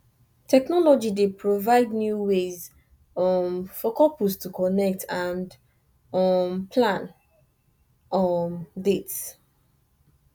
technology dey provide new ways um for couples to connect and um plan um dates